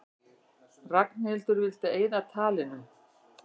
Ragnhildur vildi eyða talinu.